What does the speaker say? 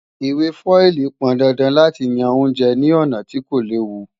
Ìwé fọ́ílì pọndandan láti yan oúnjẹ ní ọ̀nà tí kò léwu